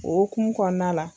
O hokumun kɔnɔna la.